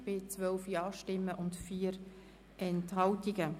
Der Rat hat den Rückweisungsantrag abgelehnt.